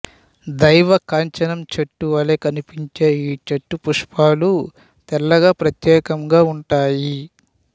దేవ కాంచనం చెట్టు వలె కనిపించే ఈ చెట్టు పుష్పాలు తెల్లగా ప్రత్యేకంగా ఉంటాయి